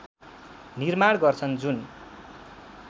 निर्माण गर्छन् जुन